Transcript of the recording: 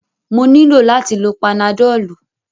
Mo nílò láti lo panadọ́lú.